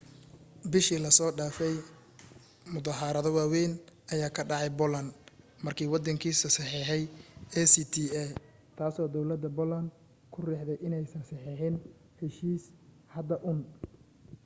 bishii la soo dhaafay muddaharaado waawayn ayaa ka dhacay poland markii waddankaasi saxeexay acta taasoo dawladda poland ku riixday inaanay saxeexin heshiiska hadda uun